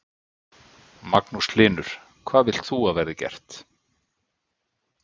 Magnús Hlynur: Hvað vilt þú að verði gert?